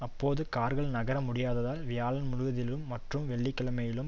அப்போது கார்கள் நகர முடியாததால் வியாழன் முழுவதிலும் மற்றும் வெள்ளிக்கிழமையிலும்